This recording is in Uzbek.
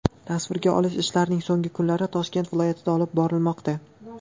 Tasvirga olish ishlarining so‘nggi kunlari Toshkent viloyatida olib borilmoqda.